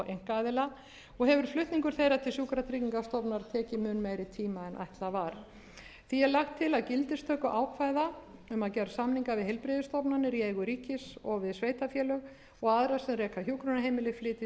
einkaaðila og hefur flutningur þeirra til sjúkratryggingastofnunar tekið mun meiri tíma en ætlað var því er lagt til að gildistöku ákvæða um að gerð samninga við heilbrigðisstofnanir í eigu ríkisins og við sveitarfélög og aðra sem reka hjúkrunarheimili flytjist til